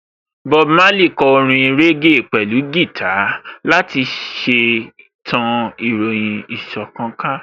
Bob Marley kò orin régè pẹ̀lú gìtá láti ṣe tan ìròyìn ìṣọ̀kan ká